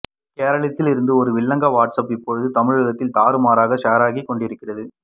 கேரளத்திலிருந்து ஒரு வில்லங்க WhatsApp இப்போது தமிழகத்தில் தாறுமாறாக ஷேர் ஆகிக் கொண்டிருக்கிறது